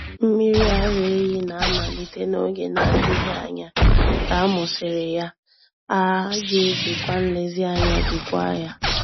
Mmiri ara ehi na-amalite n'oge na-adịghị anya ka a mụsịrị ya, a ga-ejikwa nlezianya jikwaa ya.